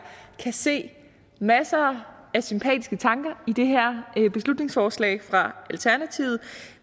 kan se masser af sympatiske tanker i det her beslutningsforslag fra alternativet